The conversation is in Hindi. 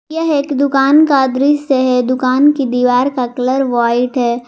यह एक दुकान का दृश्य है दुकान की दीवार का कलर व्हाइट है।